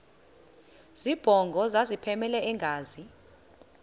zibongo zazlphllmela engazi